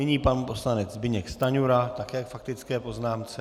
Nyní pan poslanec Zbyněk Stanjura, také k faktické poznámce.